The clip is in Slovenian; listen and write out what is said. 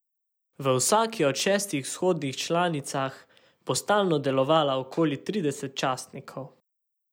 V vsaki od šestih vzhodnih članicah bo stalno delovala okoli trideset častnikov.